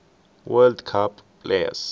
world cup players